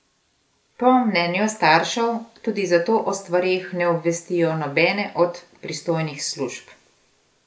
Po mnenju staršev tudi zato o stvareh ne obvestijo nobene od pristojnih služb.